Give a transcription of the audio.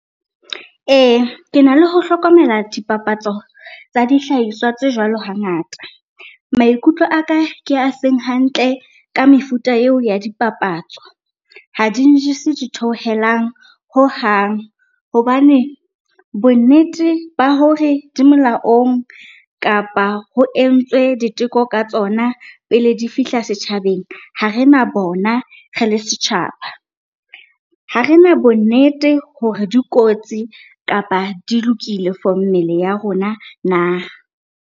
Ee, ke na le ho hlokomela dipapatso tsa dihlahiswa tse jwalo hangata. Maikutlo aka ke a seng hantle ka mefuta eo ya dipapatso. Ha di njese ditheohelang hohang, hobane bonnete ba hore di molaong kapa ho entswe diteko ka tsona pele di fihla setjhabeng, ha rena bona re le setjhaba. Ha rena bonnete hore dikotsi kapa di lokile for mmele ya rona na?